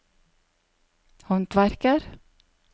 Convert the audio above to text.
håndverker